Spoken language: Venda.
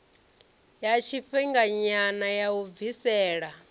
ya tshifhinganyana ya u bvisela